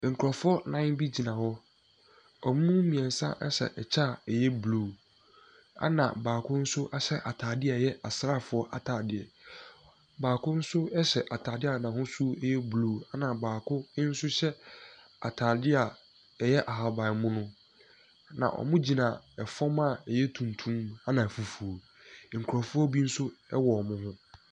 Nkurɔfoɔ nnan bi gyina hɔ. Wɔn mu mmeɛnsa hyɛ ɛkyɛ a ɛyɛ blue, ɛna baako nso ahyɛ atadeɛ a ɛyɛ asraafoɔ atadeɛ. Baako nso hyɛ atadeɛ a n'ahosuo yɛ blue, ɛna baako nso hyɛ atadeɛ a ɛyɛ ahabammono. Na wɔgyina fam a ɛyɛ tuntum, ɛna fufuo. Nkurɔfoɔ bi nso wɔ wɔn ho.